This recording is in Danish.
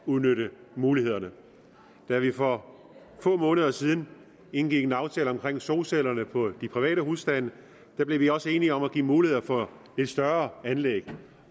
udnytte mulighederne da vi for få måneder siden indgik en aftale om solcellerne på private husstande blev vi også enige om at give mulighed for større anlæg